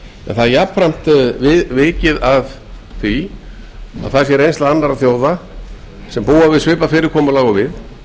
en það er jafnframt vikið að því að það sé reynsla annarra þjóða sem búa við svipað fyrirkomulag og við